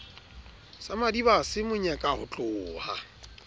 sa madibase mo nyeka hotloha